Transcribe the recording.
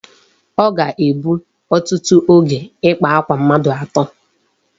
O ga-egbu otutu oge ịkpa akwa mmadụ atọ.